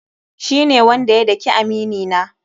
Shi ne wanda ya dake amini na.